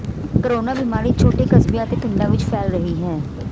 corona ਬੀਮਾਰੀ ਛੋਟੇ ਕਸਬਿਆਂ ਅਤੇ ਪਿੰਡਾਂ ਵਲ ਫੈਲ ਰਹੀ ਹੈ